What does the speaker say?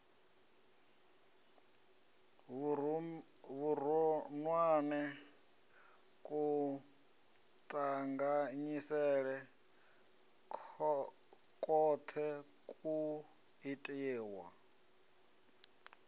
vhuronwane kuṱanganyisele kwoṱhe kwu itiwa